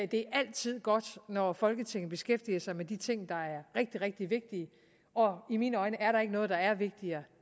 det er altid godt når folketinget beskæftiger sig med de ting der er rigtig rigtig vigtige og i mine øjne er der ikke noget der er vigtigere